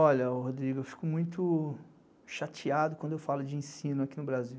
Olha, Rodrigo, eu fico muito chateado quando eu falo de ensino aqui no Brasil.